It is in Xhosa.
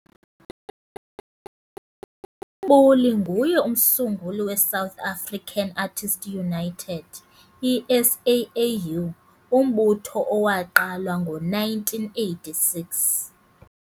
UMbuli nguye umsunguli we South African Artists United, iSAAU, umbutho owaqalwa ngo1986